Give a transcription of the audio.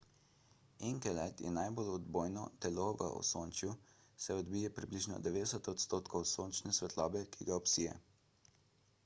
enkelad je najbolj odbojno telo v osončju saj odbije približno 90 odstotkov sončne svetlobe ki ga obsije